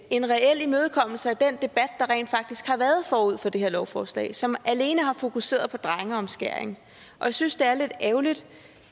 en reel imødekommelse af den debat der rent faktisk har været forud for det her lovforslag som alene har fokuseret på drengeomskæring og jeg synes det er lidt ærgerligt